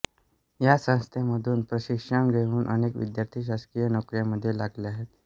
या संस्थेमधून प्रशिक्षण घेऊन अनेक विद्यार्थी शासकीय नोकऱ्यांमध्ये लागले आहेत